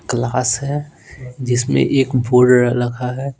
Class है जिसमें एक बोर्ड रखा है।